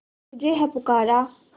तुझे है पुकारा